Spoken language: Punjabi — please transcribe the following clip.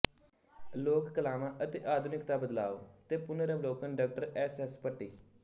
ਲੋਕ ਕਲਾਵਾਂ ਅਤੇ ਆਧੁਨਿਕਤਾ ਬਦਲਾਓ ਤੇ ਪੁਨਰ ਅਵਲੋਕਨ ਡਾ ਸ ਸ ਭੱਟੀ